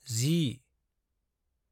10